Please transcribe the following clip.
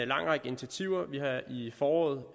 lang række initiativer vi har i foråret